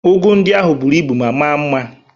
Ụgụ ndị ahụ bụrụ ibu ma maa mma